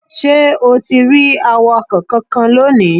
Ṣé o ti rí awakọ̀ kankan lónìí?